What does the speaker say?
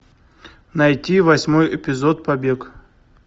найти восьмой эпизод побег